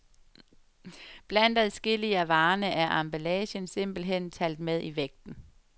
Blandt adskillige af varerne er emballagen simpelthen talt med i vægten.